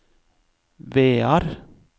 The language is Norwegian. Vear